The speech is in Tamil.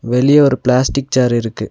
வெளிய ஒரு பிளாஸ்டிக் சேர் இருக்கு.